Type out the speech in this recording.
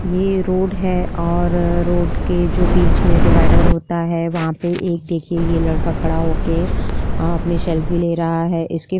यह रोड है और रोड के जो बीच डिवाइडर होता है वहाँ पर एक देखिए यह लड़का खड़ा होकर अपनी सेल्फी ले रहा है। इसके --